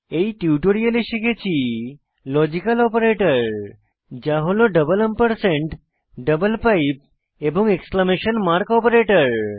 এই টিউটোরিয়ালে শিখেছি লজিক্যাল অপারেটর যা হল ডাবল এম্পারস্যান্ড ডাবল পাইপ এবং এক্সক্লেমেশন মার্ক অপারেটর